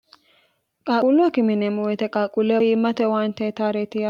qaqulloa kimineemo oyite qaaquulle hiimmate waantee taa'reeti